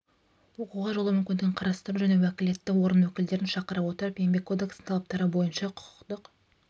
оқуға жолдау мүмкіндігін қарастыру және уәкілетті орган өкілдерін шақыра отырып еңбек кодексінің талаптары бойынша құқықтық